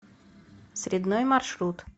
средной маршрут